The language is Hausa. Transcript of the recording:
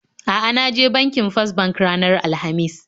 A'a, na je banki First bank ranar Alhamis